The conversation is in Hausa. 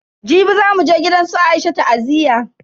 Jibi zamu je gidansu Aisha ta'aziyya.